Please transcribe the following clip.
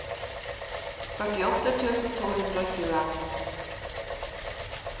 førtiåtte tusen to hundre og tjue